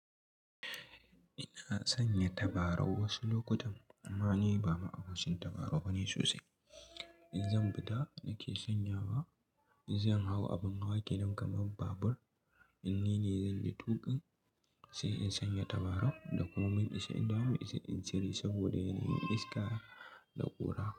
Ina sanya tabarau wasu lokutan amma ni ba ma abokin tabarau bane sosai. In zan fita nake sanya wa, in zan hau abin hawa kenan kamar babur in nine zanyi tuƙin sai in sanya tabarau da kuma mun isa in dawo in cire saboda yana yin iska da ƙura.